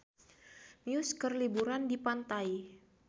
Muse keur liburan di pantai